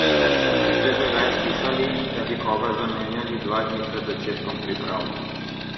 Ste že kdaj slišali, da bi koga zamenjali dva dni pred začetkom priprav?